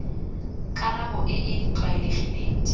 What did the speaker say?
karabo e e tlwaelegileng di